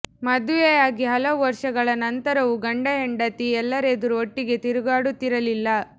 ಮದುವೆಯಾಗಿ ಹಲವು ವರ್ಷಗಳ ನಂತರವೂ ಗಂಡ ಹೆಂಡತಿ ಎಲ್ಲರೆದುರು ಒಟ್ಟಿಗೆ ತಿರುಗಾಡುತ್ತಿರಲಿಲ್ಲ